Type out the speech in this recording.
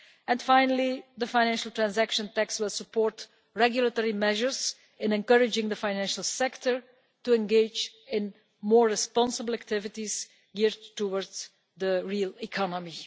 and, finally, the Financial Transaction Tax will support regulatory measures in encouraging the financial sector to engage in more responsible activities geared towards the real economy.